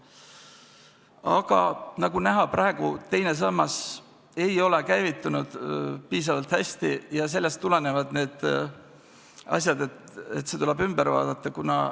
Aga nagu näha, teine sammas ei ole piisavalt hästi käivitunud, ja sellest tulenevalt see tuleb ümber vaadata.